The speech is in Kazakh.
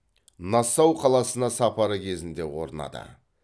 нассау қаласына сапары кезінде орнады